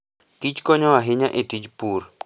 Kich konyo ahinya e tij pur.